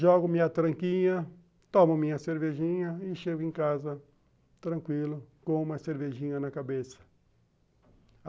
Jogo minha tranquinha, tomo minha cervejinha e chego em casa tranquilo, com uma cervejinha na cabeça.